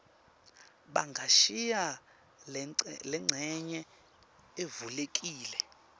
bangashiya lencenye ivulekile